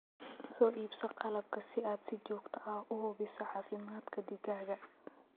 Soo iibso qalabka si aad si joogto ah u hubiso caafimaadka digaagga.